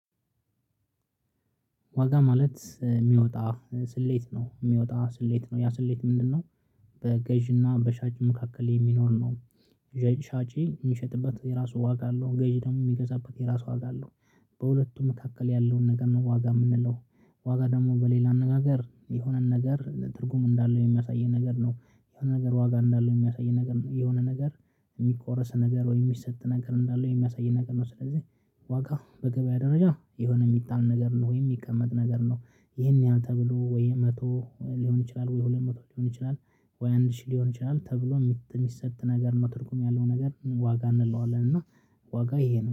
ዋጋ ማለት የሚወጣ ስሌት ነው የሚወጣ ስሌት ነው ያ ስሌት ምንድነው? በገዢና በሻጭ መካከል የሚኖር ነው። ገዢ ሻጭ የሚሸጥበት የራሱ ዋጋ አለው ገዢ ደግሞ የሚገዛበት የራሱ ዋጋ አለው። በሁለቱም መካከል ያለውን ነገር ነው ዋጋ የምንለው። ዋጋ ደግሞ በሌላ አነጋገር የሆነን ነገር ትርጉም እንዳለው የሚያሳየን ነገር ነው። የሆነ ነገር ዋጋ እንዳለው የሚያሳየን ነገር ነው የሆነ ነገር የሚቆረስ ነገር ወይም የሚሰጥ ነገር እንዳለ የሚያሳይ ነገር ነው ስለዚህ። ዋጋ በገበያ ደረጃ የሆነ የሚጣል ነገር ነው ወይ የሚቀመጥ ነገር ነው። ይሄን ያህል ተብሎ ወይ መቶ ሊሆን ይችላል ወይ ሁለት መቶ ሊሆን ይችላል ወይ አንድ ሺህ ሊሆን ይችላል ተብሎ የሚሰጥ ነገር ነው ትርጉም ያለው ነገር ዋጋ እንለዋለን እና። ዋጋ ይሄ ነው